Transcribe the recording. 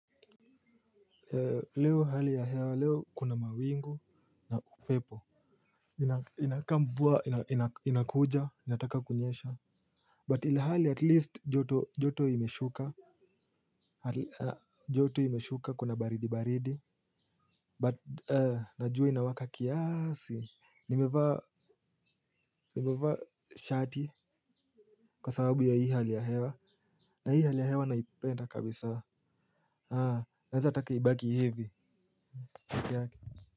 Leo hali ya hewa leo kuna mawingu na upepo inakaa mvua inakuja inataka kunyesha but ilhali at least joto imeshuka joto imeshuka kuna baridi baridi but na jua inawaka kiasi nimevaa nimevaa shati kwa sababu ya hii hali ya hewa na hii hali ya hewa naipenda kabisa naweza taka ibaki hivi peke yake.